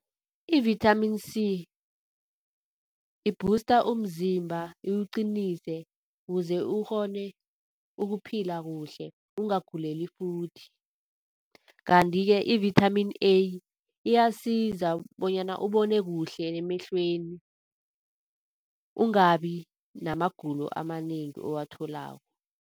I-vitamin C ibhusta umzimba, iwuqinise kuze ukghone ukuphila kuhle ungaguleli futhi. Kanti-ke i-vitamin A iyasiza bonyana ubone kuhle emehlweni, ungabi namagulo amanengi owatholako.